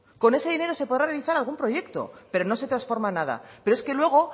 con ese dinero se podrá realizar algún proyecto pero no se transforma nada pero es que luego